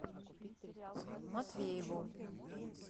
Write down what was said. матвееву